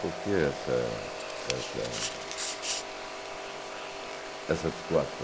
Por que essa essa essa situação?